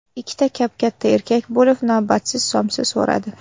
Ikkita kap-katta erkak kelib, navbatsiz somsa so‘radi.